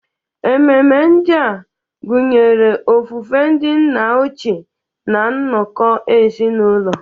Ememe ndị a gụnyere ofufe ndị nna ochie na nnọkọ ezinụlọ.